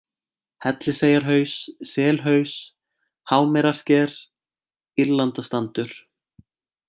Helliseyjarhaus, Selhaus, Hámerarsker, Írlandastandur